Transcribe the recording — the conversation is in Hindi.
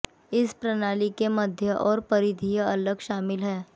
इस प्रणाली के मध्य और परिधीय अलग शामिल हैं